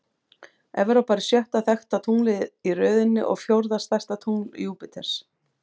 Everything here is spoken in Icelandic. Evrópa er sjötta þekkta tunglið í röðinni og fjórða stærsta tungl Júpíters.